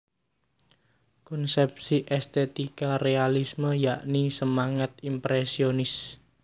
Konsepsi estetika realisme yakni semangat impresionis